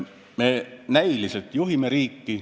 Me näiliselt juhime riiki.